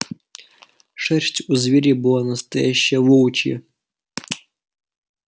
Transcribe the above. шерсть у зверя была настоящая волчья